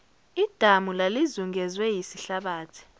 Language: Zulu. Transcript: idamu lalizungezwe yisihlabathi